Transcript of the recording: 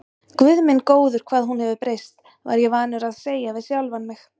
Guð minn góður, hvað hún hefur breyst, var ég vanur að segja við sjálfan mig.